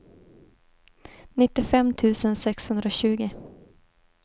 nittiofem tusen sexhundratjugo